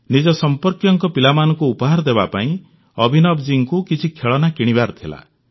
ନିଜ ସମ୍ପର୍କୀୟଙ୍କ ପିଲାମାନଙ୍କୁ ଉପହାର ଦେବାପାଇଁ ଅଭିନବଜୀଙ୍କୁ କିଛି ଖେଳନା କିଣିବାର ଥିଲା